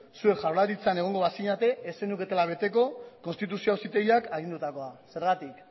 zuek jaurlaritzan egongo bazinen ez zenuketela beteko konstituzio auzitegiak agindutakoa zergatik